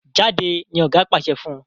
Jáde! ní oga pàṣẹ fún.